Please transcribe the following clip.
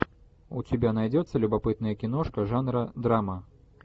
у тебя найдется любопытная киношка жанра драма